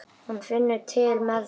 Hún finnur til með þeim.